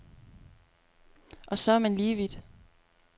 Og så er man lige vidt.